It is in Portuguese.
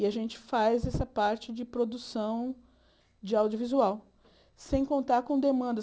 E a gente faz essa parte de produção de audiovisual, sem contar com demandas.